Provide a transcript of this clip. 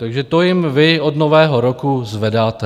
Takže to jim vy od nového roku zvedáte.